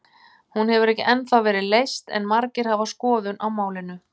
Hún hefur ekki ennþá verið leyst en margir hafa skoðun á málinu.